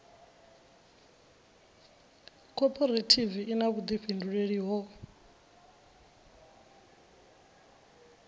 khophorethivi i na vhuḓifhinduleli ho